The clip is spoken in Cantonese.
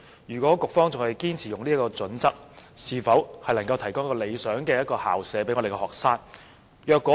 如局方仍堅持採用這個準則，恐怕未能為學生提供一個理想的學習環境。